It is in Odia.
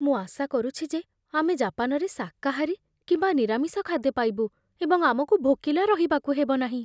ମୁଁ ଆଶା କରୁଛି ଯେ ଆମେ ଜାପାନରେ ଶାକାହାରୀ କିମ୍ବା ନିରାମିଷ ଖାଦ୍ୟ ପାଇବୁ ଏବଂ ଆମକୁ ଭୋକିଲା ରହିବାକୁ ହେବ ନାହିଁ।